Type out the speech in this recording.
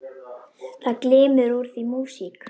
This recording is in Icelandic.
Það glymur úr því músík.